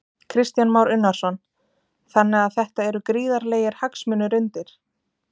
Kristján Már Unnarsson: Þannig að þetta eru gríðarlegir hagsmunir undir?